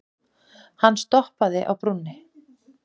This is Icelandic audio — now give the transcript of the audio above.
Hann stoppaði á brúninni.